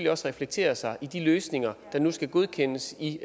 også reflektere sig i de løsninger der nu skal godkendes i